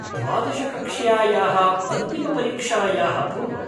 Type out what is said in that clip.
द्वादश कक्ष्यायाः अन्तिमपरीक्षायाः पूर्वम्।